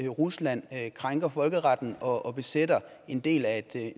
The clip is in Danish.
rusland krænker folkeretten og besætter en del af